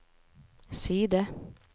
side